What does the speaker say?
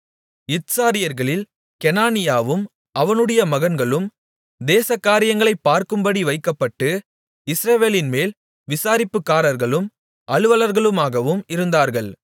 இத்சாரியர்களில் கெனானியாவும் அவனுடைய மகன்களும் தேசகாரியங்களைப் பார்க்கும்படி வைக்கப்பட்டு இஸ்ரவேலின்மேல் விசாரிப்புக்காரர்களும் அலுவலர்களுமாகவும் இருந்தார்கள்